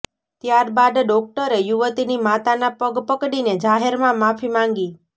ત્યાર બાદ ડોક્ટરે યુવતીની માતાના પગ પકડીને જાહેરમાં માફી માંગી